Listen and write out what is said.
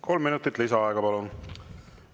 Kolm minutit lisaaega, palun!